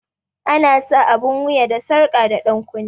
Ana sa abun wuya da sarƙa da dankunne